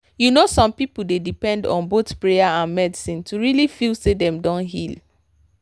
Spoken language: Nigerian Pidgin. you know some people dey depend on both prayer and medicine to really feel say dem don heal.